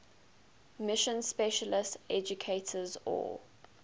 mission specialist educators or